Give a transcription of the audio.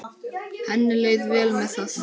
Henni leið vel með það.